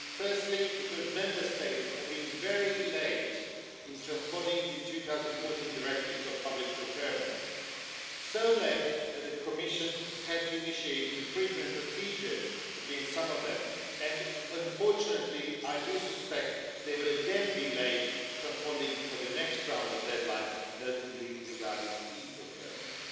Firstly, because Member States have been very late in transposing the 2014 directives on public procurement so late that the Commission had to initiate infringement procedures against some of them, and, unfortunately, I do suspect they will again be late transposing for the next round of deadlines, notably regarding e-procurement.